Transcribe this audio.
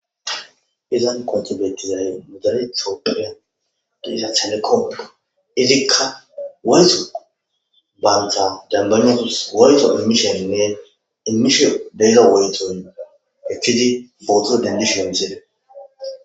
Izan kontobetizayy modane toopiiya di ha xelekopoqo ilikka wezo baanta dambanizos wayto emmishonne imisho deygo wayto ekkiti footo dendishonzere.